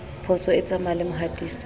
phoso e tsamaya le mohatisi